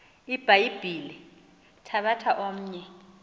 ibhayibhile thabatha omnye